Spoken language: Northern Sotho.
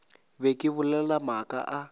be ke bolela maaka a